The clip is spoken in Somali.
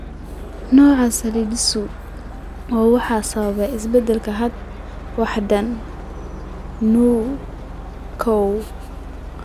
Nooca Sialidosis I waxaa sababa isbeddellada hidda-wadaha NEU koow.